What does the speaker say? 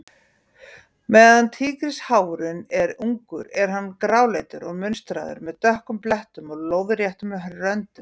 Meðan tígrisháfurinn er ungur er hann gráleitur og munstraður, með dökkum blettum og lóðréttum röndum.